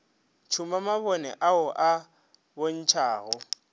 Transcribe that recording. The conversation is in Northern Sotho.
tšhuma mabone ao a bontšhago